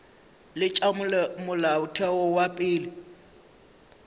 le tša molaotheo wa pele